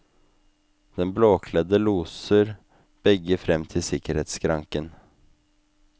Den blåkledde loser begge frem til sikkerhetsskranken.